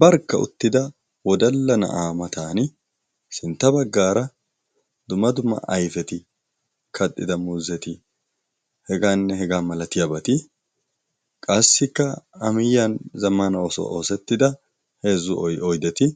barkka uttida wodalla na'a matan sintta baggara dumma dumma ayfeti, kaxxida muuzzeti, heganne hegga malatiyaabati. qassikka a miyiyyan zammana ogiyaan oosettida oydeti,